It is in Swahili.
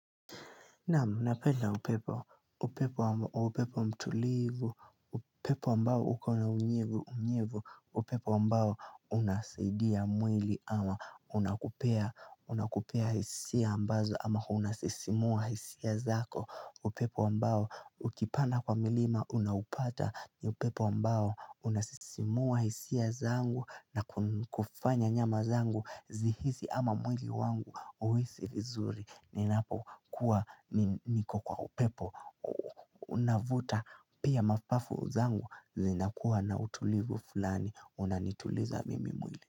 Naam napenda upepo, upepo upepo mtulivu, upepo ambao ukona unyevu, unyevu, upepo ambao unasaidia mwili ama unakupea, unakupea hisia ambazo ama unasisimua hisia zako upepo ambao ukipanda kwa milima unaupata ni upepo ambao unasisimua hisia zangu na kufanya nyama zangu zihisi ama mwili wangu uhisi vizuri Ninapo kuwa niko kwa upepo unavuta pia mapafu zangu zinakuwa na utulivu fulani unanituliza mimi mwili.